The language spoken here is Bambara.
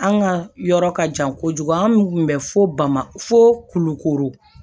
An ka yɔrɔ ka jan kojugu an kun bɛ fo bama fo kulukoro